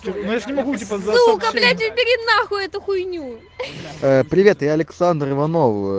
что если мы будем позволять убери нахуй эту хуйню привет и александра иванова